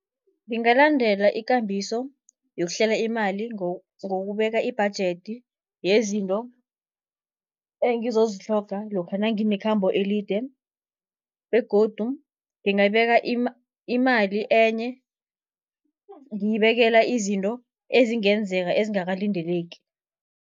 Ngingalandela ikambiso yokuhlela imali, ngokubeka ibhajedi yezinto engizozitlhoga lokha nanginekhambo elide. Begodu ngingabeka imali enye, ngiyibekela izinto ezingenzeka ezingakalindeleki.